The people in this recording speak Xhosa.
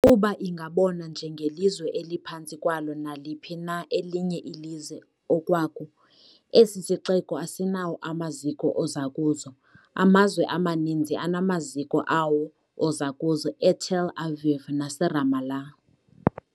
Kuba ingabonwa nje ngelizwe eliphantsi kwalo naliphi na elinye ilizwe okwaku, esi sixeko asinawo amaziko ozakuzo. amazwe amaninzi anamaziko awo ozakuzo eTel Aviv naseRamallah.